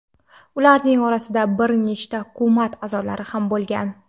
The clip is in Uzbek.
Ularning orasida bir nechta hukumat a’zolari ham bo‘lgan.